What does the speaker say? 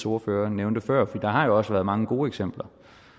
ordfører nævnte før for der har jo også været mange gode eksempler